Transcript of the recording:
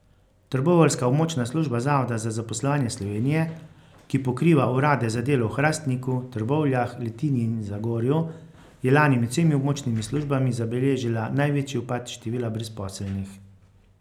Trboveljska območna služba Zavoda za zaposlovanje Slovenije, ki pokriva urade za delo v Hrastniku, Trbovljah, Litiji in Zagorju, je lani med vsemi območnimi službami zabeležila največji upad števila brezposelnih.